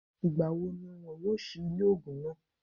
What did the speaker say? Ìgbà wo ni wọn yóò sí ilé ògùn náà?